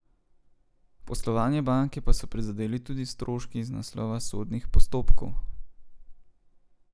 Poslovanje banke pa so prizadeli tudi stroški iz naslova sodnih postopkov.